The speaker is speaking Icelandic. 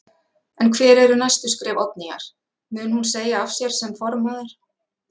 En hver eru næstu skref Oddnýjar, mun hún segja af sér sem formaður?